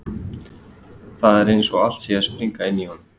Það er eins og allt sé að springa inni í honum.